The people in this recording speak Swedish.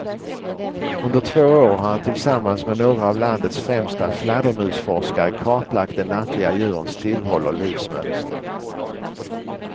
Under två år har han tillsammans med några av landets främsta fladdermusforskare kartlagt de nattliga djurens tillhåll och livsmönster.